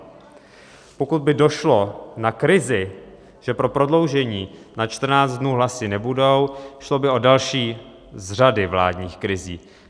Pokud by došlo na krizi, že pro prodloužení na 14 dnů hlasy nebudou, šlo by o další z řady vládních krizí.